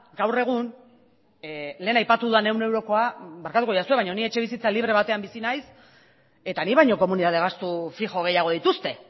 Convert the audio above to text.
gaur egun lehen aipatu dudan ehun eurokoa barkatuko nauzue baina nik etxebizitza libre batean bizi naiz eta nik baino komunitate gastu fijo gehiago dituzte